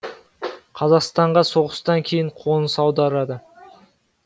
қазақстанға соғыстан кейін қоныс аударады